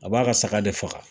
A b'a ka saga de faga.